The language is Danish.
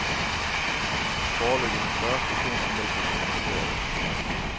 Foreløbig har fyrre stationer meldt sig som interesserede.